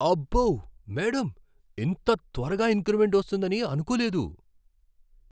అబ్బో, మేడమ్! ఇంత త్వరగా ఇంక్రిమెంట్ వస్తుందని అనుకోలేదు!